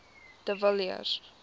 de villiers